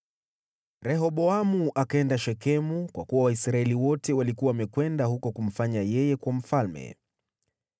Rehoboamu akaenda Shekemu, kwa kuwa Waisraeli wote walikuwa wamekwenda huko kumfanya yeye kuwa mfalme.